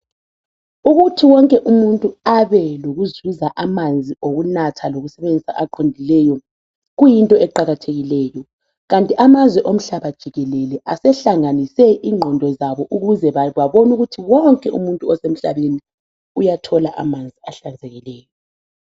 Ukuthi wonke umuntu abe lokuzuza amanzi okunatha lokusebenzisa aqondileyo kuyinto eqakathekileyo kanti amazwe omhlaba jikelele asehlanganise ingqondo zabo ukuze babone ukuthi wonke umuntu osemhlabeni uyathola amanzi ahlanzekileyo